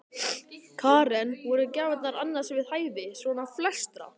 Karen: Voru gjafirnar annars við hæfi, svona flestra?